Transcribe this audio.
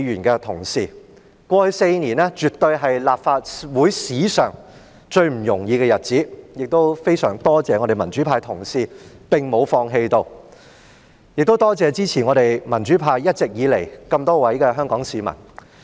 過去4年，絕對是立法會史上最不容易的日子，我非常多謝民主派的同事沒有放棄，也多謝一直以來支持民主派的眾多香港市民。